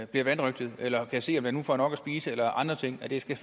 bliver vanrøgtet eller kan se om den nu får nok at spise eller andre ting det skal